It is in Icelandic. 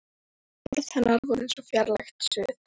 Orð hennar voru eins og fjarlægt suð.